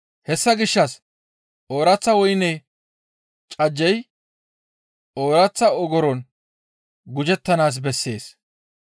Hessa gishshas ooraththa woyne cajjey ooraththa ogoron gujettanaas bessees.